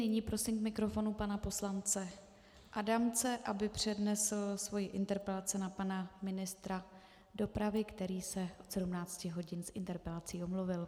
Nyní prosím k mikrofonu pana poslance Adamce, aby přednesl svoji interpelaci na pana ministra dopravy, který se od 17 hodin z interpelací omluvil.